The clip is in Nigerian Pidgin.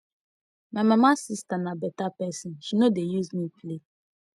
my mama sister be better person she no dey use me play